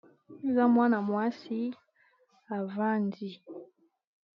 Eza mwana mwasi avandi.